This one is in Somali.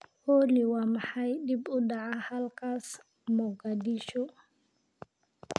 olly, waa maxay dib u dhaca halkaas, Mogadishu